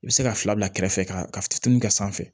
I bɛ se ka fila bila kɛrɛfɛ ka fitinin kɛ sanfɛ